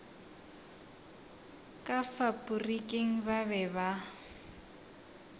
ka faporiking ba be ba